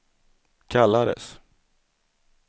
kallades